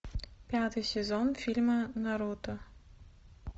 пятый сезон фильма наруто